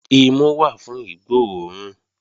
Imu wà fún ìgbó òórùn